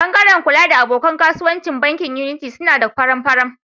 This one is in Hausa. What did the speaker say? Bangaren kula da abokan kasuwanci bankin Unity suna da faran-faran.